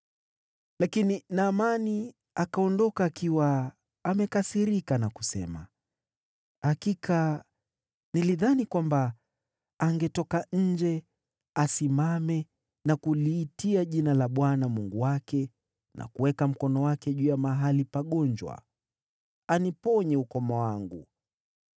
Lakini Naamani akaondoka akiwa amekasirika, akasema, “Hakika nilidhani kwamba angetoka nje, asimame na kuliitia jina la Bwana Mungu wake, na kuweka mkono wake juu ya mahali pagonjwa, aniponye ukoma wangu.